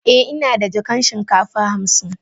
Eh, ina da jakan shinkafa hamsin.